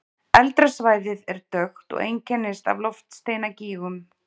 Eldra svæðið er dökkt og einkennist af loftsteinagígum.